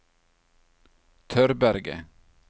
Tørberget